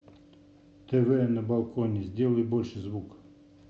тв на балконе сделай больше звук